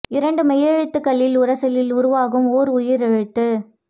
இரண்டு மெய்யெழுத்துக்களின் உரசலில் உருவாகும் ஓர் உயிரெழுத்து